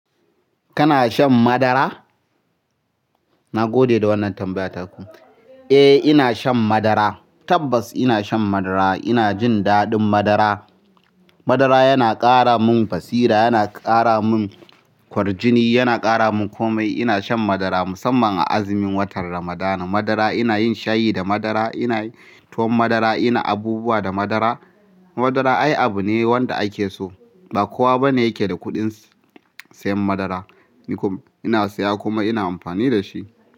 Kana shan madara? Na gode da wannan tambaya taku. Eh, ina shan madara. Tabbas ina shan madara. Ina jin daɗin madara. Madara yana ƙara mun basira, yana ƙara mun kwarjini, yana ƙara mun komai. Ina shan madara musamman a azumin watan Ramadana. Madara ina yin shayi da madara, inayi tuwon madara, ina abubuwa da madara. Madara ai abu ne wanda ake so. Ba kowa bane yake da kuɗin siyan madara. Ni kuma ina siya kuma ina amfani da shi.